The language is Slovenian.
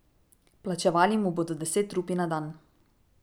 Plačevali mu bodo deset rupij na dan.